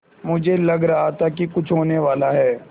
मुझे लग रहा था कि कुछ होनेवाला है